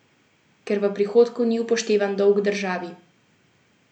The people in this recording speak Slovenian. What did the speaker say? Ker v prihodku ni upoštevan dolg državi.